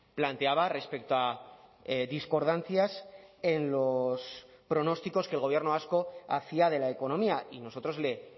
planteaba respecto a discordancias en los pronósticos que el gobierno vasco hacía de la economía y nosotros le